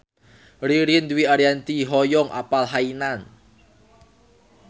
Ririn Dwi Ariyanti hoyong apal Hainan